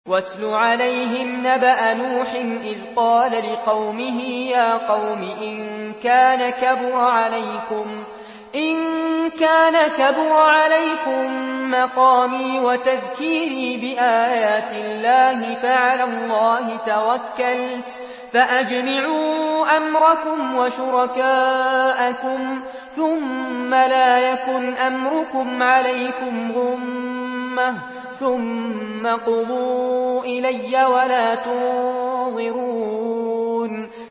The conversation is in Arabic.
۞ وَاتْلُ عَلَيْهِمْ نَبَأَ نُوحٍ إِذْ قَالَ لِقَوْمِهِ يَا قَوْمِ إِن كَانَ كَبُرَ عَلَيْكُم مَّقَامِي وَتَذْكِيرِي بِآيَاتِ اللَّهِ فَعَلَى اللَّهِ تَوَكَّلْتُ فَأَجْمِعُوا أَمْرَكُمْ وَشُرَكَاءَكُمْ ثُمَّ لَا يَكُنْ أَمْرُكُمْ عَلَيْكُمْ غُمَّةً ثُمَّ اقْضُوا إِلَيَّ وَلَا تُنظِرُونِ